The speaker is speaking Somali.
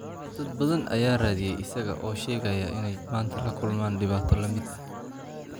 Dad badan ayaa raadiyay isaga oo sheegaya in ay maanta la kulmaan dhibaato la mid ah.